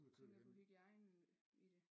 Tænker på hygiejnen i det